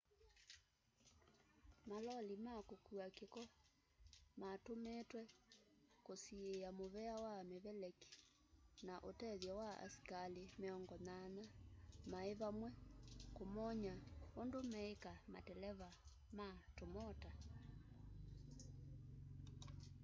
maloli ma kũkua kĩko matũmĩtwe kũsiĩya mũvea wa mĩveleki na ũtethyo wa asikalĩ 80 maĩvamwe kũmony'a ũndũ meĩka mateleva ma tũmota